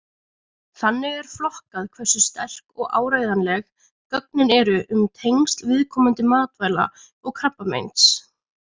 Þannig er flokkað hversu sterk og áreiðanleg gögnin eru um tengsl viðkomandi matvæla og krabbameins.